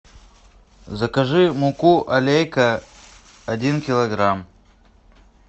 закажи муку алейка один килограмм